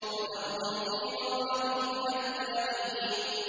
فَذَرْهُمْ فِي غَمْرَتِهِمْ حَتَّىٰ حِينٍ